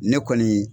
Ne kɔni